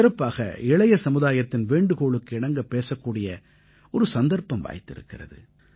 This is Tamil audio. சிறப்பாக இளைய சமுதாயத்தின் வேண்டுகோளுக்கு இணங்க பேசக்கூடிய ஒரு சந்தர்ப்பம் வாய்த்திருக்கிறது